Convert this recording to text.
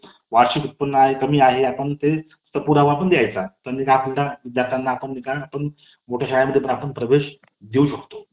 college मधील काही आठवणी college मधील काही आनंदाचे दिवस मित्रमैत्रिणी च्या सोबत केलेली मज्जा मस्ती आणि परीक्षा आल्यानंतर एकत्र मिळून केलेला अभ्यास.